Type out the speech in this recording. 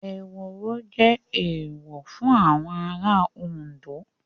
Ehoro jẹ́ Èèwọ̀ fún àwọn ará Òndó